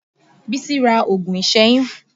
Bísí ra oògùn ìsẹ́yún